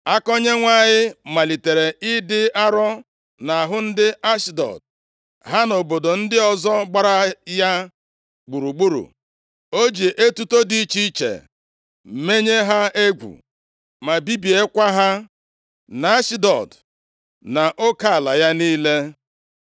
Aka Onyenwe anyị malitere ịdị arọ nʼahụ ndị Ashdọd, ha na obodo ndị ọzọ gbara ya gburugburu, o ji etuto dị iche iche menye ha egwu ma bibiekwa ha nʼAshdọd nʼoke ala ya niile.